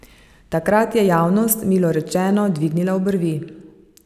Takrat je javnost, milo rečeno, dvignila obrvi.